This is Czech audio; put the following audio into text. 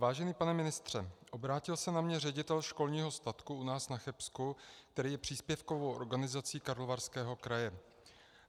Vážený pane ministře, obrátil se na mě ředitel školního statku u nás na Chebsku, který je příspěvkovou organizací Karlovarského kraje.